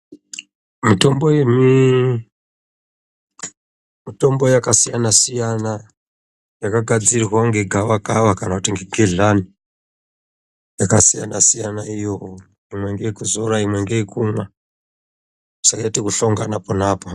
Mitombo yakasiyana-siyana, yakagadzirwa ngegavakava kana kuti ngegedhlani yakasiyana-siyana. Imwe ngeye kuzora imweni ngeye kumwa, zvakaite ekuhlangana pona apapo.